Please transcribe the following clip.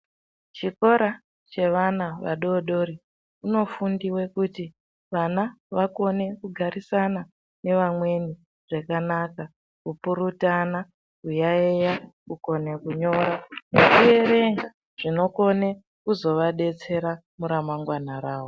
Chikora chevana vadodori, kunofundiwe kuti vana vakone kugarisana nevamweni zvakanaka ,kupurutana ,kuyaeya, kukonene kunyora nekuerenga. Zvinokone kuzovadetsera muramangwana rawo.